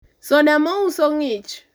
soda mouso ng'ich